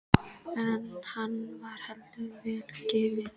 En hann var heldur ekki vel gefinn.